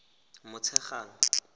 motshegang